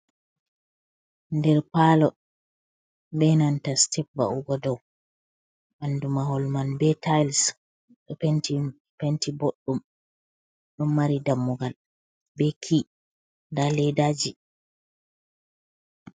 Ɗer palo be nanta sitep va’ugo ɗau. Banɗu mahol man be tiles ɗo penti boɗdum. Ɗon mari dammugal be ke'i nɗa ledaji.